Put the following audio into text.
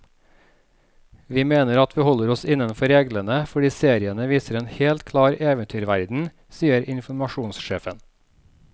Vi mener at vi holder oss innenfor reglene, fordi seriene viser en helt klar eventyrverden, sier informasjonssjefen.